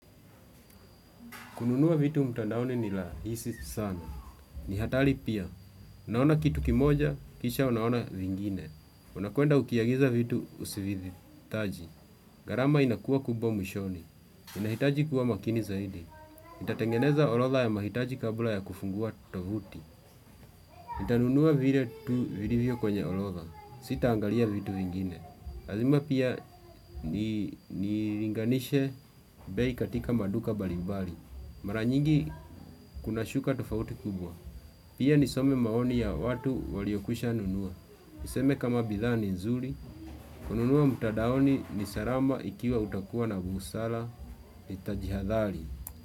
Kununu vitu mtandaoni ni rahisi sana. Ni hatari pia. Naona kitu kimoja, kisha unaona vingine. Unakuenda ukiagiza vitu usivihitaji. Garama inakuwa kubwa mwishoni. Inahitaji kuwa makini zaidi. Nitatengeneza orodha ya mahitaji kabla ya kufungua tovuti. Nitanunua vile tu vilivyo kwenye orodha. Sita angalia vitu vingine. Lazima pia nilinganishe bei katika maduka mbalimbali. Mara nyingi kuna shuka tofauti kubwa. Pia nisome maoni ya watu waliokwisha nunua. Niseme kama bidha ni nzuri. Kununua mtadaoni ni salama ikiwa utakuwa na busara itajihadhari.